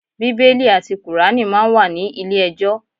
Bíbélì àti kùránì máa ń wà ní ilé ẹjọ́.